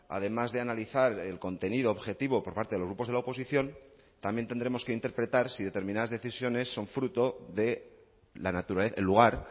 además de analizar el contenido objetivo por parte de los grupos de la oposición también tendremos que interpretar si determinadas decisiones son fruto del lugar